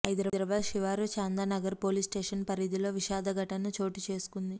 హైదరాబాద్ శివారు Chandanagar police station పరిధిలో విషాద ఘటన చోటు చేసుకుంది